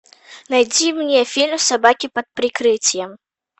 найди мне фильм собаки под прикрытием